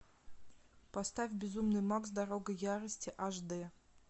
поставь безумный макс дорога ярости аш д